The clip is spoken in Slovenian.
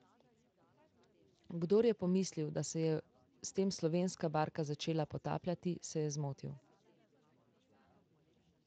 Kdor je pomislil, da se je s tem slovenska barka začela potapljati, se je zmotil.